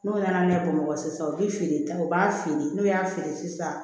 N'o nana ne bamakɔ sisan u bi feere ta u b'a feere n'u y'a feere sisan